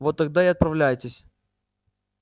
вот тогда и отправляйтесь